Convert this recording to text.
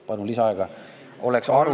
Palun lisaaega!